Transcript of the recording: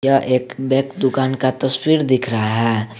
यह एक बैग दुकान का तस्वीर दिख रहा है।